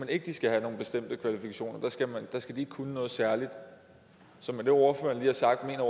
at de skal have nogle bestemte kvalifikationer de skal ikke kunne noget særligt så med det ordføreren lige har sagt mener